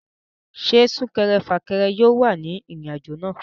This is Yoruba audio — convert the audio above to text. Ṣé súnkẹrẹ fàkẹrẹ yóò wà ní ìrìn àjò náà?